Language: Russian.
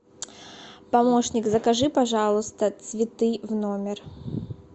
помощник закажи пожалуйста цветы в номер